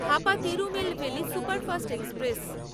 Hapa Tirunelveli superfast express